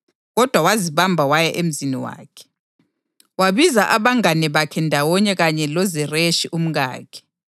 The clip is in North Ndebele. Kodwa wazibamba waya emzini wakhe, wabiza abangane bakhe ndawonye kanye loZereshi umkakhe,